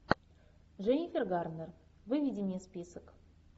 дженнифер гарнер выведи мне список